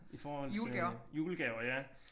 I forhold til julegaver ja